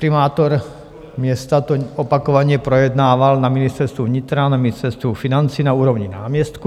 Primátor města to opakovaně projednával na Ministerstvu vnitra, na Ministerstvu financí, na úrovni náměstků.